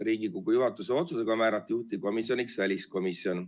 Riigikogu juhatuse otsusega määrati juhtivkomisjoniks väliskomisjon.